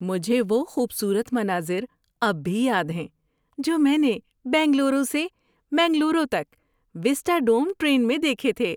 مجھے وہ خوبصورت مناظر اب بھی یاد ہیں جو میں نے بنگلورو سے منگلورو تک وِسٹاڈوم ٹرین میں دیکھے تھے۔